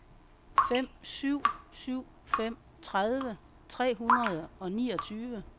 fem syv syv fem tredive tre hundrede og niogtyve